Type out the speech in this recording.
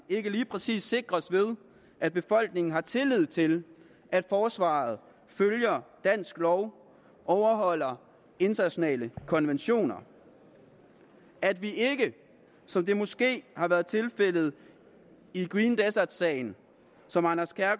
ikke lige præcis sikres ved at befolkningen har tillid til at forsvaret følger dansk lov overholder internationale konventioner at vi ikke som det måske har været tilfældet i green desert sagen